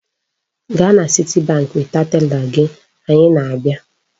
Gaa na Citibank weta tela gị! Anyị na-abịa.